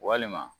Walima